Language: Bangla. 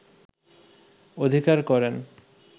অধিকার করেন